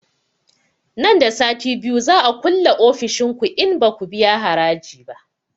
Nan da sati biyu za a kulle ofishin ku in baku biya haraji ba